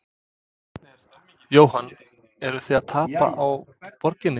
Jóhann: Eruð þið að tapa á borginni?